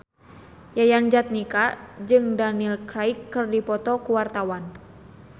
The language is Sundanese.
Yayan Jatnika jeung Daniel Craig keur dipoto ku wartawan